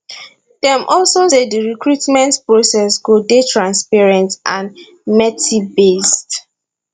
dem also say di recruitment process go dey transparent and mertibased